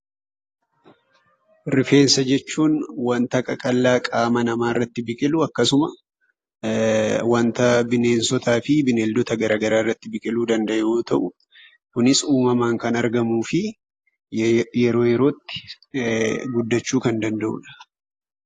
Rifeensa jechuun wanta qaqal'aa qaama namarratti biqilu, akkasuma wanta bineensota fi bineeldota garaagara irratti biqiluu danda'u yoo ta'u, kunis uumaman kan argamuu fi yeroo, yerootti guddachu kan danda'udha.